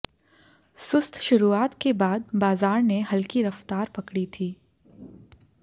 सुस्त शुरुआत के बाद बाजार ने हल्की रफ्तार पकड़ी थी